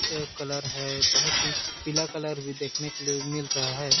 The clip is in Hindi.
कलर है बहुत ही पिला कलर भी देखने के लिए मिल रहा है।